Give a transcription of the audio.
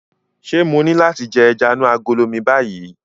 Ṣé mo ní láti jẹ ẹja inú agolo mi báyìí?